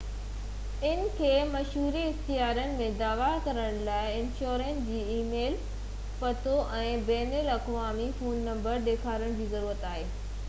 انهن کي مشوري/اختيارن ۽ دعويٰ ڪرڻ لاءِ انشورر جو اي ميل پتو ۽ بين الاقوامي فون نمبرن ڏيکارڻ جي ضرورت آهي